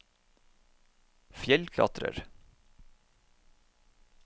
fjellklatrer